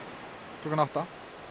klukkan átta